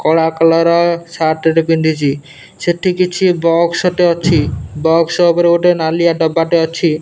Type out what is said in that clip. କଳା collar shirt ଟେ ପିନ୍ଧିଚି ସେଠି କିଛି ବକ୍ସଟେ ଅଛି ବକ୍ସ ଉପରେ ଗୋଟେ ନାଲିଆ ଡବାଟେ ଅଛି।